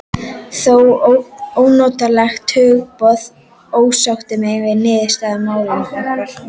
Það ónotalega hugboð ásótti mig að niðurstaðan í máli okkar